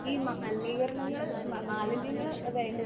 ഈ മാലിനീകരണങ്ങള് മാലിന്യങ്ങള് വേണ്ട